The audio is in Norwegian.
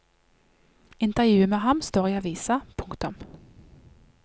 Intervjuet med ham står i avisa. punktum